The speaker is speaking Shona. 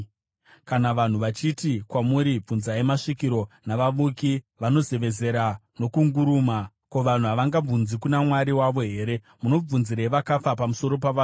Kana vanhu vachiti kwamuri bvunzai masvikiro navavuki, vanozevezera nokunguruma, ko, vanhu havangabvunzi kuna Mwari wavo here? Munobvunzirei vakafa pamusoro pavapenyu?